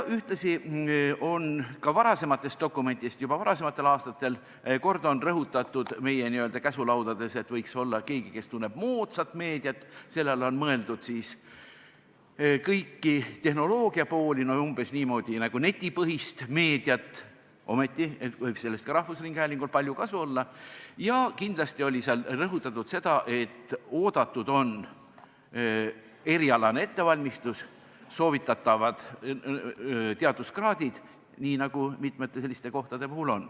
Ühtlasi on ka varasemates dokumentides varasematel aastatel meie n-ö käsulaudades rõhutatud, et võiks olla keegi, kes tunneb moodsat meediat – selle all on mõeldud tehnoloogia poolt, umbes nagu netipõhist meediat, sellest võib rahvusringhäälingul palju kasu olla –, ja kindlasti oli seal rõhutatud seda, et oodatud on erialane ettevalmistus ja teaduskraadid, nii nagu on mitmete teiste selliste kohtade puhul.